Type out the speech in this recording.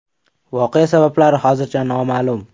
Voqea sabablari hozircha noma’lum.